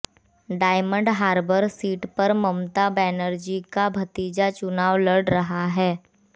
diamond Harbour seat पर ममता बनर्जी का भतीजा चुनाव लड़ रहा है